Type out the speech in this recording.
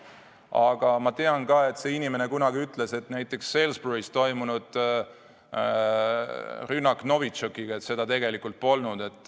Aga ma tean ka, et see inimene kunagi ütles, et näiteks Salisburys toimunud rünnakut Novitšokiga tegelikult polnud.